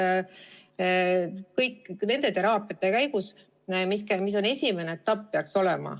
See teraapia käigus, mis peaks olema esimene etapp.